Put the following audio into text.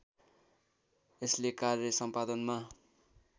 यसले कार्य सम्पादनमा